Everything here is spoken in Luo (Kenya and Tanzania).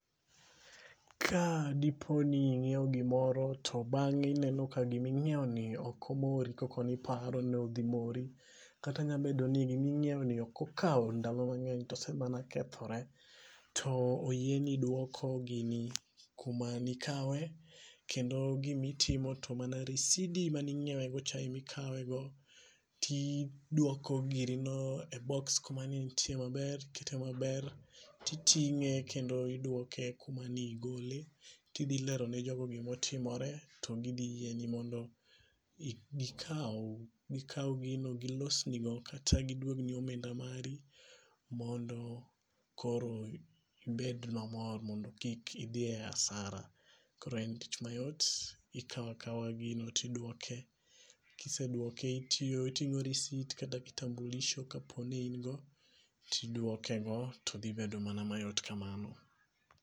Ka dipo ni ing'iew gimoro to bang'e ineno ka giming'iew ni ok mori koko ni paro ni odhi mori. Kata nyamabedo ni giming'iew no ok okaw ndalo mang'eny to ose mana kethore. To oyieni duoko gini kuma ni kawe. Kendo gimitimo to mana risidi maning'iewe go cha emikawego ti duoko girino e box kuma ne entie maber ikete maber. Titing'e kendo iduoke kuma nigole kidhilero jogo gimotiomore. To gidhi yieni mondo gokaw gino gilosnigo kata giduogni omenda mari mondo koro ibed mamor mondo kik idhie asara. Koro en tich mayot. Ikawa kawa gino tiduoke. Kiseduoke, Iting'o risit kata kitambulisho kapo ni ingo tiduoke go todhibedo mana mayot kamano.